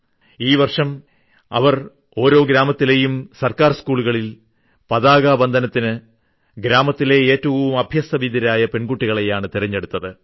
ഈ വർഷം അവർ ഓരോ ഗ്രാമത്തിലേയും സർക്കാർ സ്കൂളുകളിൽ പതാകാവന്ദനത്തിന് ഗ്രാമത്തിലെ ഏറ്റവും അഭ്യസ്തവിദ്യരായ പെൺകുട്ടികളെയാണ് തെരഞ്ഞെടുത്തത്